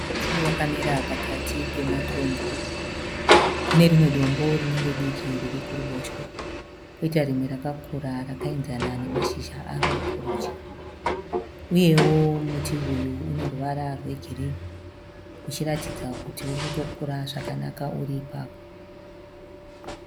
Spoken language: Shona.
Muti wakamira pakati pematombo. Kune rimwe dombo rinenge diki riri kuruboshwe kwoitao rimwe rakakura rakaenzana nemashizha aro kurudyi. uyeo muti uyu une ruvara rwe girini. Uchiratidza kuti uri kutokura zvakanaka uri ipapo.